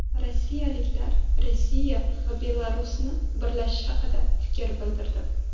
Rossiyaliklar Rossiya va Belarusni birlashishi haqida fikr bildirdi.